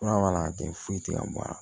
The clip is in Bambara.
Fura mana kɛ foyi tɛ ka bɔ a la